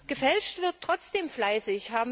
Gefälscht wird trotzdem fleißig.